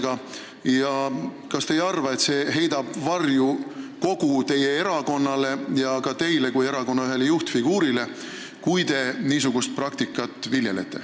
Kas te ei arva, et kui te niisugust praktikat viljelete, siis heidab see varju kogu teie erakonnale ja ka teile kui erakonna ühele juhtfiguurile?